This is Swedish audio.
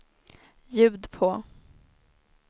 ljud på